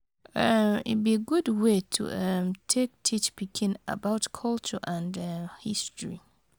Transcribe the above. um E bi gud way to um take teach pikin about culture and um history.